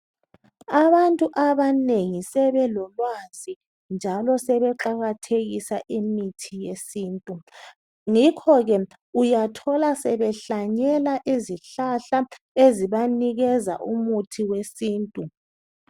Abantu abanengi sebelolwazi njalo sebeqakathekisa imithi yesintu. Ngakhoke uyathola sebehlanyela izihlahla ezibanikeza umuthi wesintu.